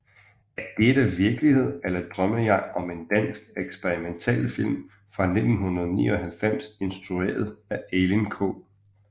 Er dette virkelighed eller drømmer jeg er en dansk eksperimentalfilm fra 1999 instrueret af Elin K